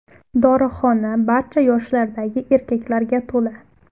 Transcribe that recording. Dorixona barcha yoshlardagi erkaklarga to‘la.